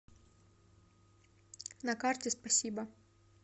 на карте спасибо